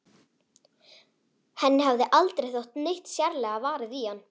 Henni hafði aldrei þótt neitt sérlega varið í hann.